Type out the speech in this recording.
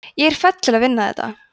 ég er fædd til að vinna þetta